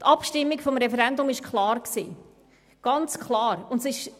Die Abstimmung über das Referendum fiel klar aus, sehr klar.